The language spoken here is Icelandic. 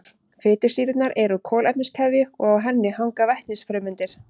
Fitusýrurnar eru úr kolefniskeðju og á henni hanga vetnisfrumeindir.